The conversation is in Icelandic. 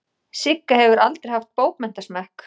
Sigga hefur aldrei haft bókmenntasmekk.